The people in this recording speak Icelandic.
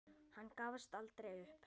Hann gafst aldrei upp.